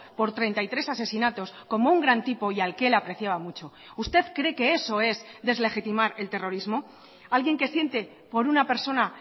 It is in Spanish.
por treinta y tres asesinatos como un gran tipo y al que él apreciaba mucho usted cree que eso es deslegitimar el terrorismo alguien que siente por una persona